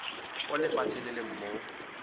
o lefatshe le leng mo